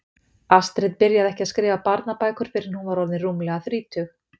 Astrid byrjaði ekki að skrifa barnabækur fyrr en hún var orðin rúmlega þrítug.